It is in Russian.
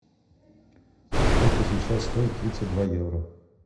сколько сейчас стоит тридцать два евро